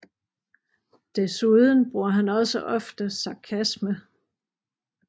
Desuden bruger han også ofte sarkasme